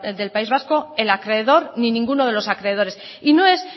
del país vasco el acreedor ni ninguno de los acreedores y no es